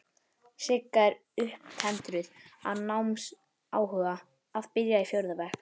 Sigga er upptendruð af námsáhuga, að byrja í fjórða bekk.